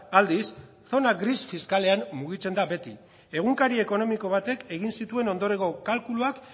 aldiz zona gris fiskalean mugitzen da beti egunkari ekonomiko batek egin zituen ondorengo kalkuluak